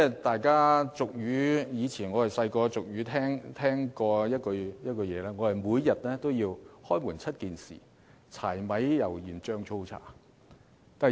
大家年幼時也曾聽過一句俗語，就是每天也離不開"開門七件事"，即柴、米、油、鹽、醬、醋、茶。